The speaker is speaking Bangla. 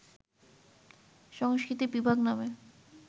সংস্কৃতি বিভাগ নামে